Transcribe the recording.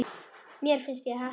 Mér finnst ég heppin.